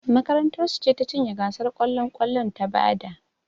Makarantar su ce ta cinye gasar kwallon kwallon ta bada